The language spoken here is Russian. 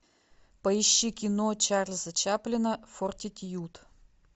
поищи кино чарльза чаплина фортитьюд